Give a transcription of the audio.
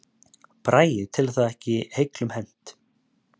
Bragi telur það ekki heiglum hent